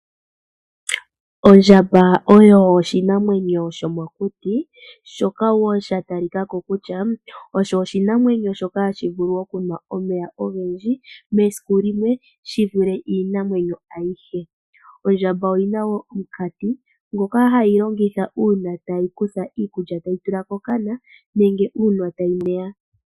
Ondjamba oyo oshinamwenyo shomokuti shoka sha talika ko kutya osho oshinamwenyo ha shi nu omeya ogendji mesiku limwe shi vule iinamwenyo ayihe. Ondjamba oyina omukati ngoka hayi longitha okunwa omeya nenge oku kutha iikulya tayi tula kokana.